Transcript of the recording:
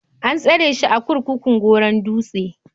An tsare shi a kurkukun Goron Dutse.